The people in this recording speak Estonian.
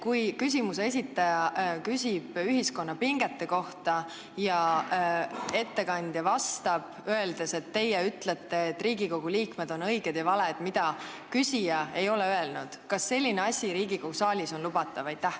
Kui küsimuse esitaja küsib ühiskonna pingete kohta ja ettekandja vastab, öeldes, et teie ütlete, et Riigikogu liikmed on õiged ja valed, mida küsija ei ole öelnud, kas selline asi Riigikogu saalis on lubatav?